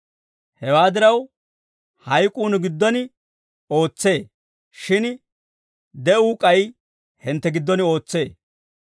Hewaa diraw, hayk'uu nu giddon ootsee; shin de'uu k'ay hintte giddon ootsee.